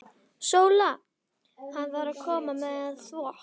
SÓLA: Hann var að koma með þvott.